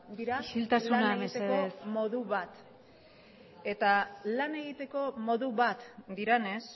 dira isiltasuna mesedez dira lan egiteko modu bat eta lan egiteko modu bat direnez